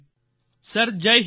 sir Jai Hind